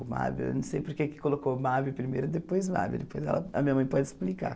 O Mábio, eu não sei porque colocou o Mábio primeiro, depois Mábia, depois ela a minha mãe pode explicar.